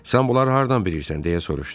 Sən bunları hardan bilirsən deyə soruşdu.